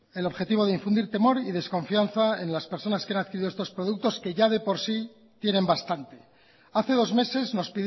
el objetivo de infundir temor y desconfianza en las personas que han adquirido estos productos que ya de por sí tienen bastante hace dos meses nos